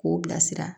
K'o bila sira